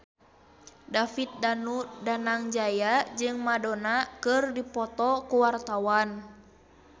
David Danu Danangjaya jeung Madonna keur dipoto ku wartawan